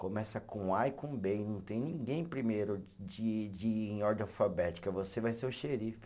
Começa com A e com Bê, e não tem ninguém primeiro de de, em ordem alfabética, você vai ser o xerife.